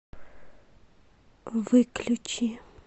выключи